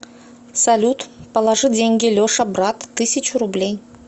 салют положи деньги леша брат тысячу рублей